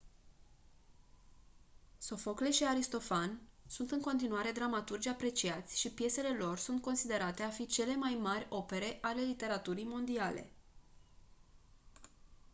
sofocle și aristofan sunt în continuare dramaturgi apreciați și piesele lor sunt considerate a fi printre cele mai mari opere ale literaturii mondiale